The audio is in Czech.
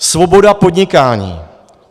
Svoboda podnikání.